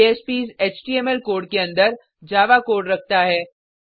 JSPs HTML code के अंदर Java code रखता है